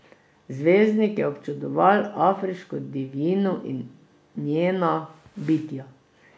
Zvezdnik je občudoval afriško divjino in njena bitja.